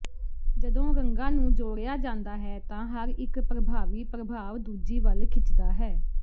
ਜਦੋਂ ਰੰਗਾਂ ਨੂੰ ਜੋੜਿਆ ਜਾਂਦਾ ਹੈ ਤਾਂ ਹਰ ਇੱਕ ਪ੍ਰਭਾਵੀ ਪ੍ਰਭਾਵ ਦੂਜੀ ਵੱਲ ਖਿੱਚਦਾ ਹੈ